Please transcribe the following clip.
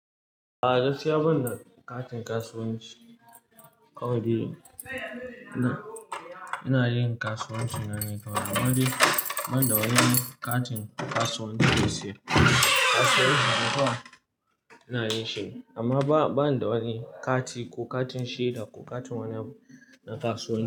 A'a! Gaskiya banda katin kasuwanci, ina dai yin kasuwanci na ne kawai. Amma dai, ban da wani katin kasuwanci da ya siyar. Kasuwanci na kowa ina yin shi amma ba, ban da wani kati ko katin shaida, ko katin wani na kasuwanci.